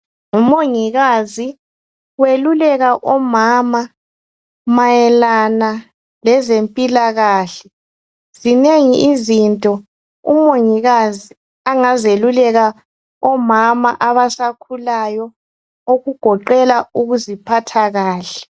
Ngu mongikazi weluleka omama mayelana lezempilakahle, zinengi izinto umongikazi angazeluleka omama abasakhulayo ukugoqela ukuziphatha kahle.